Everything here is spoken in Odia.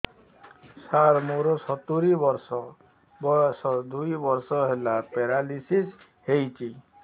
ସାର ମୋର ସତୂରୀ ବର୍ଷ ବୟସ ଦୁଇ ବର୍ଷ ହେଲା ପେରାଲିଶିଶ ହେଇଚି